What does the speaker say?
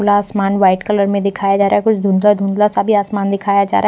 खुला आसमान white colour में दिखाया जा रहा है कुछ धुंधला धुंधला सा भी आसमान दिखा जा रहा हैं।